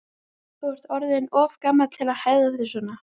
Þú ert orðinn of gamall til að hegða þér svona.